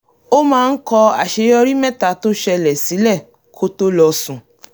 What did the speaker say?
ó máa ń kọ àṣeyorí mẹ́ta tó ṣẹlẹ̀ sílẹ̀ kó tó lọ sùn